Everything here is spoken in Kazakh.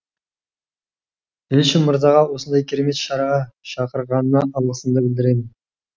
елші мырзаға осындай керемет шараға шақырғанына алғысымды білдіремін